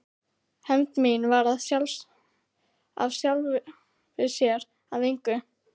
Hefnd mín varð af sjálfu sér að engu.